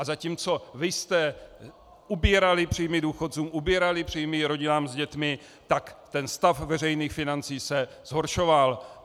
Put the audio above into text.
A zatímco vy jste ubírali příjmy důchodcům, ubírali příjmy rodinám s dětmi, tak ten stav veřejných financí se zhoršoval.